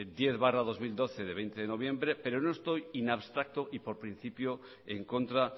diez barra dos mil doce del veinte de noviembre pero no estoy in abstracto y por principio en contra